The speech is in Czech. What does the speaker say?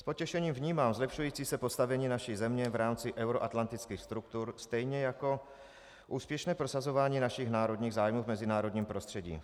S potěšením vnímám zlepšující se postavení naší země v rámci euroatlantických struktur stejně jako úspěšné prosazování našich národních zájmů v mezinárodním prostředí.